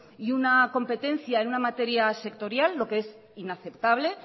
y una competencia en una materia sectorial lo que es inaceptable